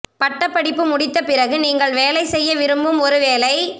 பட்டப்படிப்பு முடித்த பிறகு நீங்கள் வேலை செய்ய விரும்பும் ஒரு வேலை